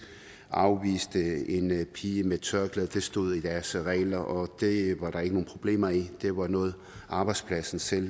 afviste en pige med tørklæde det stod i deres regler og det var der ikke nogen problemer i det var noget arbejdspladsen selv